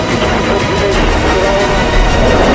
Hənc, hə, hər bir şeydə, hərbi bir şeydə ixtira olunur.